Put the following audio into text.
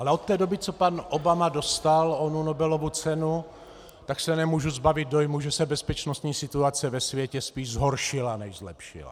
Ale od té doby, co pan Obama dostal onu Nobelovu cenu, tak se nemůžu zbavit dojmu, že se bezpečnostní situace ve světě spíš zhoršila než zlepšila.